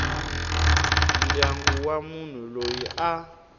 ndyangu wa munhu loyi a